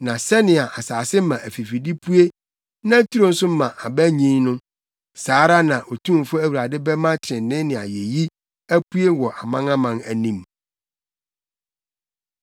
Na sɛnea asase ma afifide pue na turo nso ma aba nyin no, saa ara na Otumfo Awurade bɛma trenee ne ayeyi apue wɔ amanaman anim.